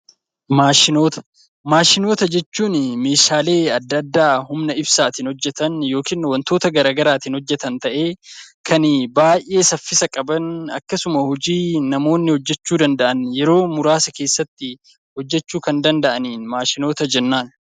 Maashinota jechuun meeshaalee adda addaa humna ibsaatiin hojjatan yookiin wantoota garaagaraatiin hojjatan ta'ee kan baay'ee saffisa qaban akkasuma hojii namoonni hojjachuu danda'an yeroo muraasa keessatti hojjachuu kan danda'aniin maashinoota jennaan.